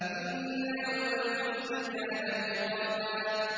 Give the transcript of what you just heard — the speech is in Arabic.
إِنَّ يَوْمَ الْفَصْلِ كَانَ مِيقَاتًا